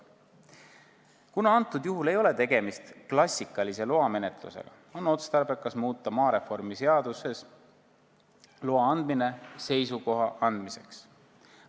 Kuna tegemist ei ole klassikalise loamenetlusega, on otstarbekas muuta maareformi seaduses loa andmine seisukoha andmiseks.